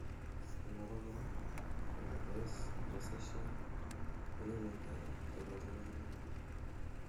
en abakora, ko rosacea kongemei togoch inegen